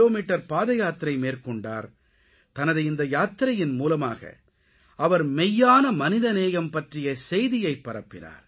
metre பாதயாத்திரை மேற்கொண்டார் தனது இந்த யாத்திரையின் மூலமாக அவர் மெய்யான மனிதநேயம் பற்றிய செய்தியை பரப்பினார்